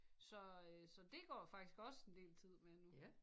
Så øh så det går faktisk også en del tid med nu